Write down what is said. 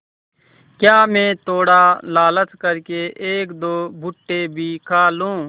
क्या मैं थोड़ा लालच कर के एकदो भुट्टे भी खा लूँ